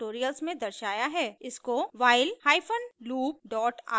इसको while hyphen loop dot rb नाम दें